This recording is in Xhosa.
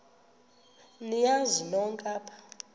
niyazi nonk apha